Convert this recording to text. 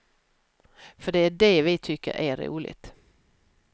För det är det vi tycker är roligt.